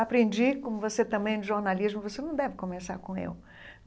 Aprendi, como você também, de jornalismo, você não deve começar com eu.